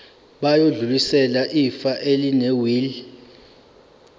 bayodlulisela ifa elinewili